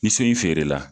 Ni so in feere la